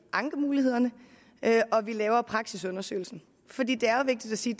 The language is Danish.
ankemulighederne og laver praksisundersøgelsen for det det er jo vigtigt at sige